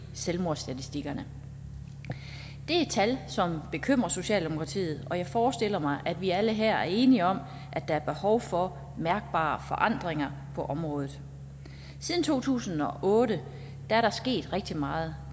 selvmordsstatistikkerne det er tal som bekymrer socialdemokratiet og jeg forestiller mig at vi alle her er enige om at der er behov for mærkbare forandringer på området siden to tusind og otte er der sket rigtig meget